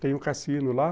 Tem um cassino lá.